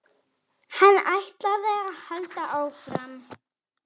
Hann ætlaði að halda áfram.